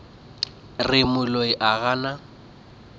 re moloi ga a na